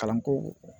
Kalanko